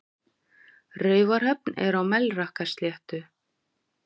Raufarhöfn er á Melrakkasléttu.